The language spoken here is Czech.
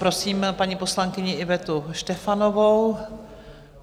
Prosím paní poslankyni Ivetu Štefanovou.